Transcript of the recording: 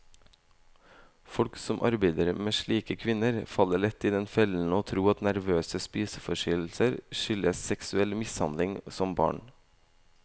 Folk som arbeider med slike kvinner, faller lett i den fellen å tro at nervøse spiseforstyrrelser skyldes seksuell mishandling som barn.